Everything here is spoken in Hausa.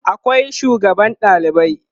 akwai sugaban ɗalibai